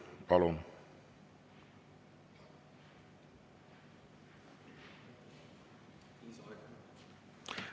Palun!